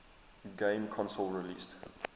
game console released